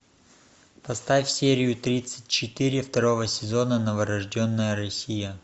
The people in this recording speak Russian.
поставь серию тридцать четыре второго сезона новорожденная россия